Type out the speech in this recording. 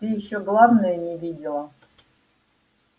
ты ещё главное не видела